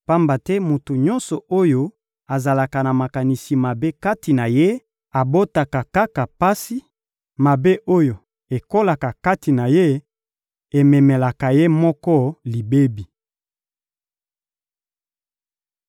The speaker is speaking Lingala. Pamba te moto nyonso oyo azalaka na makanisi mabe kati na ye abotaka kaka pasi; mabe oyo ekolaka kati na ye ememelaka ye moko libebi.»